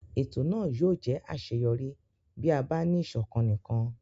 Ètò náà yóò jẹ́ àṣeyọrí bí a bá ní ìṣọ̀kan nìkan.